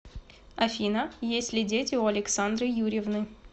афина есть ли дети у александры юрьевны